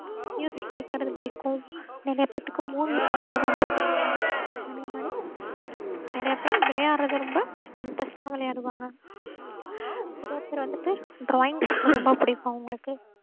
கேக்குறது புடிக்கும். நறைய பேத்துக்கு movie பாக்குறது ரொம்ப புடிக்கும். அதேமாறி நறைய பேரு விளையாடுறது ரொம்ப interest அஹ் விளையாடுவாங்க. நறைய பேரு வந்துட்டு drawing பண்றது ரொம்ப புடிக்கும் அவங்களுக்கு.